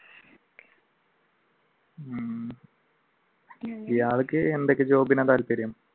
ഇയാൾക്ക് എന്തൊക്കെ job ആണ് താല്പര്യം?